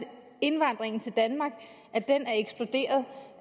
indvandringen til danmark er eksploderet